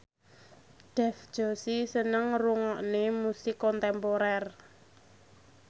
Dev Joshi seneng ngrungokne musik kontemporer